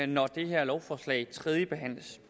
når det her lovforslag tredjebehandles